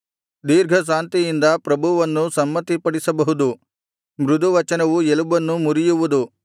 ದೀರ್ಘಶಾಂತಿಯಿಂದ ಪ್ರಭುವನ್ನೂ ಸಮ್ಮತಿಪಡಿಸಬಹುದು ಮೃದುವಚನವು ಎಲುಬನ್ನು ಮುರಿಯುವುದು